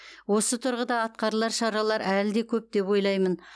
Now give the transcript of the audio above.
осы тұрғыда атқарылар шаралар әлі де көп деп ойлаймын